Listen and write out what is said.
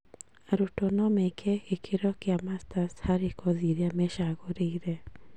Arutwo no meke gĩkĩro kĩa masters harĩ kothi irĩa mecagũrĩire